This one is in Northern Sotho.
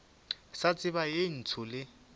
sa tseba ye ntsho le